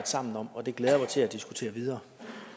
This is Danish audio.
sammen om og det glæder jeg mig til at diskutere videre